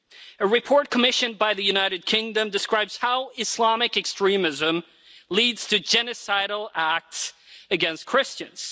A report commissioned by the United Kingdom describes how Islamic extremism leads to genocidal acts against Christians.